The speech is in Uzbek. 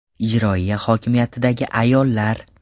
Ijroiya hokimiyatidagi ayollar.